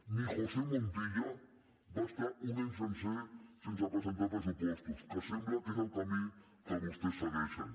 ni josé montilla va estar un any sencer sense presentar pressupostos que sembla que és el camí que vostès segueixen